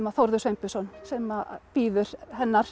Þórður Sveinbjörnsson sem biður hennar